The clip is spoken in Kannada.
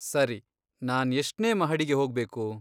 ಸರಿ, ನಾನ್ ಎಷ್ಟ್ನೇ ಮಹಡಿಗೆ ಹೋಗ್ಬೇಕು?